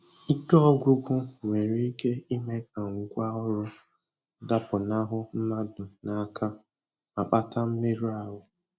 Ike ọgwụgwụ nwere ike ime ka ngwa ọrụ dapụnahụ mmadụ n'aka ma kpata mmerụ ahụ